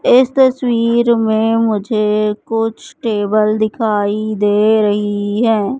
इस तस्वीर में मुझे कुछ टेबल दिखाई दे रही है।